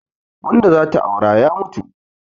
Wanda zata aura ya mutu